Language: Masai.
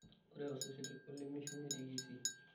ore osesen olemeishu netii Kisii